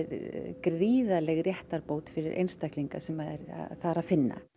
gríðarleg réttbót fyrir einstaklinga sem er þar að finna